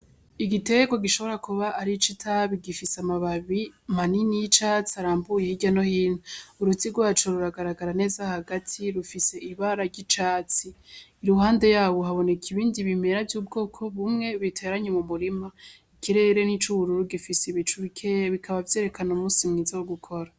Igiterwa gishobora kuba ari ic'itabi gifise amababi manini y'icatsi arambuye hirya no hino. Uruti rwaco ruragaragara neza hagati rufise ibara ry'icatsi. Iruhande yawo haboneka ibindi bimera vy'ubwoko bumwe biteranye mu murima. Ikirere ni ic'ubururu gifise ibicu bikeya, bikaba vyerekana umusi mwiza wo gukora.